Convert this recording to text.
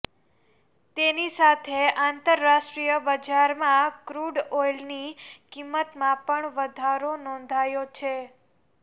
તેની સાથે આંતરરાષ્ટ્રીય બજારમાં ક્રૂડ ઓઈલની કિંમતમાં પણ વધારો નોંધાયો છે